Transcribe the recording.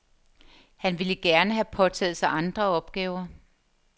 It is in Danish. Han ville gerne have påtaget sig andre opgaver.